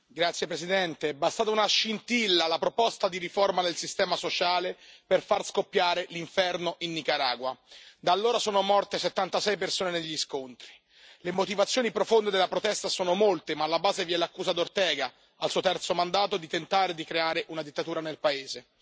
Signor Presidente, onorevoli colleghi, è bastata una scintilla la proposta di riforma del sistema sociale per far scoppiare l'inferno in Nicaragua. Da allora sono morte 76 persone negli scontri. Le motivazioni profonde della protesta sono molte, ma alla base vi è l'accusa di Ortega, al suo terzo mandato, di tentare di creare una dittatura nel paese.